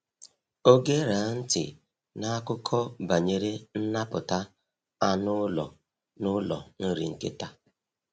Ọ gera ntị n’akụkọ banyere nnapụta anụ ụlọ n’ụlọ nri nkịta.